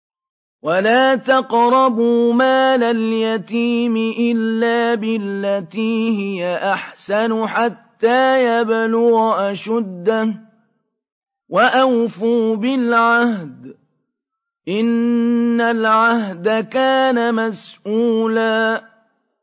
وَلَا تَقْرَبُوا مَالَ الْيَتِيمِ إِلَّا بِالَّتِي هِيَ أَحْسَنُ حَتَّىٰ يَبْلُغَ أَشُدَّهُ ۚ وَأَوْفُوا بِالْعَهْدِ ۖ إِنَّ الْعَهْدَ كَانَ مَسْئُولًا